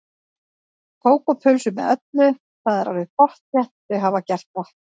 Kók og pulsu með öllu, það er alveg pottþétt, þau hafa gert það.